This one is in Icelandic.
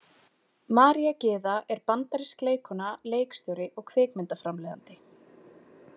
María Gyða er bandarísk leikkona, leikstjóri og kvikmyndaframleiðandi.